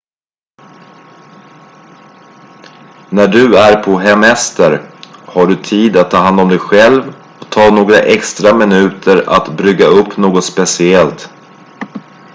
när du är på hemester har du tid att ta hand om dig själv och ta några extra minuter att brygga upp något speciellt